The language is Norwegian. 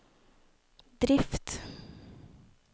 drift